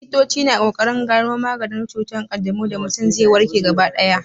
Likitoci na ƙoƙarin gano maganin cutar ƙanjamau da mutum zai warke gaba ɗaya.